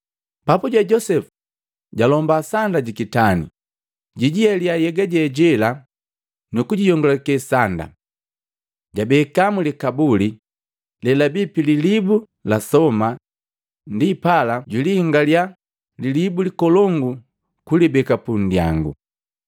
Papuje Josepu jalomba sanda jikitani, jijihelia nhyega je jela nukujiyongulakee sanda. Jabeka mlikabuli lelabii pililibu la soma, ndipala jwilihingalya lilibu likolongu kulibeka pundyangu.